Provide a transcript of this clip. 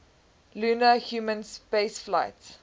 lunar human spaceflights